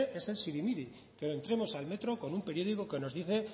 es el sirimiri que entremos al metro con un periódico que nos dice